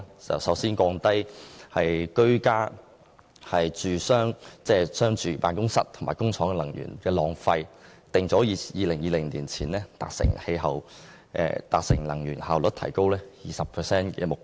首先，降低居家、住商辦公室及工廠的能源浪費，訂定2020年前達成能源效率提高 20% 的目標。